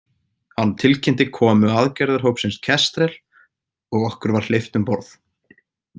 Hann tilkynnti komu aðgerðarhópsins Kestrel og okkur var hleypt um borð.